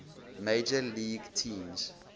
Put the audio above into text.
major league teams